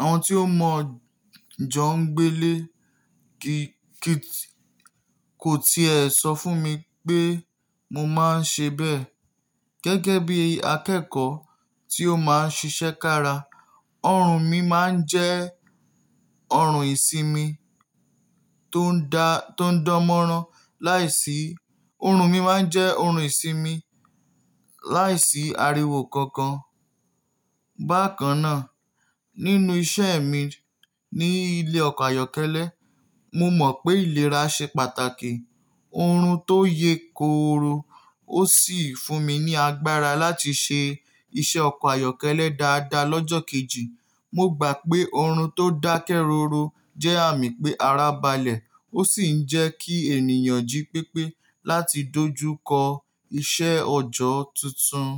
àwọn tí ó mọ̀ jọ ń gbé lé, kí, kíì tí, kò ti è so fún mi pé mo máa ń ṣe bẹ́ẹ̀. Gẹ́gẹ́ bí akẹ́kọ̀ọ́ tí ó máa ń ṣiṣẹ́ kára, ọrùn mi máa ń jẹ́ ọrùn ìsinmi tó ń dá, tó ń dán mọ́rán láìsí, ọrùn mi máa ń jẹ́ ọrùn ìsinmi láìsí ariwo kankan. Bákan náà, nínú iṣẹ́ mi ní ilé ọkọ̀ ayọ́kẹ́lẹ́, mo mọ̀ pé ìlera ṣe pàtàkì. Ọrùn tó yẹ kó ro ó sì fún mi ní agbára láti ṣe iṣẹ́ ọkọ̀ ayọ́kẹ́lẹ́ dáadáa lọ́jọ́ kejì. Mo gbà pé ọrùn tó dákẹ́ rọró jẹ́ àmì pé ara balẹ̀ ó sì ń jẹ́ kí ènìyàn jí pépé láti dojú kọ iṣẹ́ ọjọ́ tuntun.